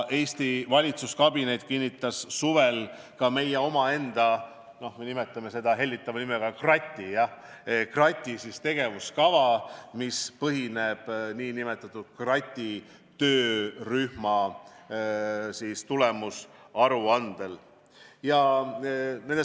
Eesti valitsuskabinet kinnitas suvel ka meie omaenda krati tegevuskava , mis põhineb nn krati töörühma tulemusaruandel.